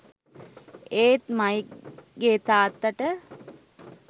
ඒත් මයික් ගේ තාත්තට